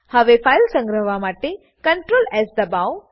હવે ફાઈલ સંગ્રહવા માટે ctrls દબાવો